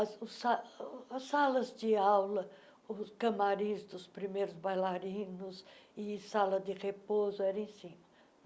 os sa As salas de aula, os camarins dos primeiros bailarinos e sala de repouso eram em cima.